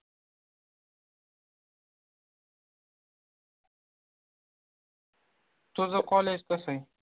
तुझं college कसंय?